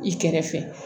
I kɛrɛfɛ